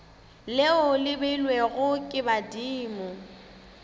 leo le beilwego ke badimo